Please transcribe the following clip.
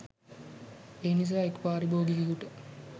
එනිසා එක් පාරිභෝගිකයෙකුට